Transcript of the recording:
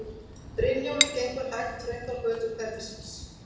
Brynjólfur gengur hægt þröngar götur hverfisins.